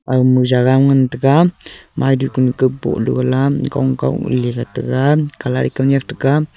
aga my jaga ngan tega maidu kunka bohlo la gong kawley tega colour e khanyak tega.